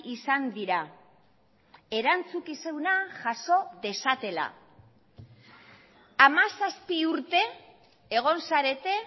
izan dira erantzukizuna jaso dezatela hamazazpi urte egon zarete